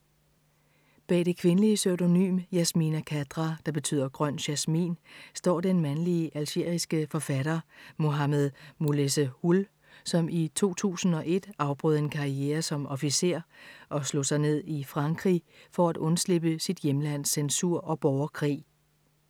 Bag det kvindelige pseudonym Yasmina Khadra, der betyder grøn jasmin, står den mandlige algeriske forfatter Mohammed Moulessehoul, som i 2001 afbrød en karriere som officer og slog sig ned i Frankrig for at undslippe sit hjemlands censur og borgerkrig.